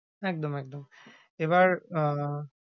একদম একদম। এবার আহ